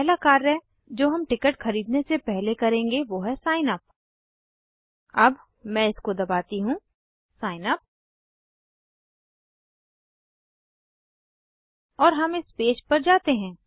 पहला कार्य जो हम टिकट खरीदने से पहले करेंगे वो है सिग्नअप अब मैं इसको दबाती हूँ सिग्नअप और हम इस पेज पर जाते हैं